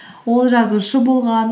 ол жазушы болған